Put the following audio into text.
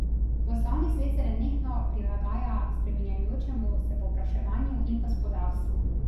Poslovni svet se nenehno prilagaja spreminjajočemu se povpraševanju in gospodarstvu.